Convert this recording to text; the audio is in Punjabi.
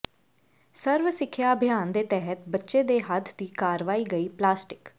ਸਰਵ ਸਿੱਖਿਆ ਅਭਿਆਨ ਦੇ ਤਹਿਤ ਬੱਚੇ ਦੇ ਹੱਥ ਦੀ ਕਰਵਾਈ ਗਈ ਪਲਾਸਟਿਕ